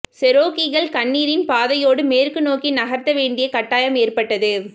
செரோக்கீகள் கண்ணீரின் பாதையோடு மேற்கு நோக்கி நகர்த்த வேண்டிய கட்டாயம் ஏற்பட்டது